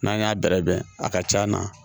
N'an y'a bɛrɛbɛn a ka c'a na